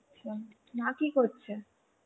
আচ্ছা, মা কি করছে?